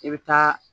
I bɛ taa